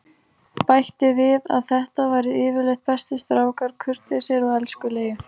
Bætti við að þetta væru yfirleitt bestu strákar, kurteisir og elskulegir.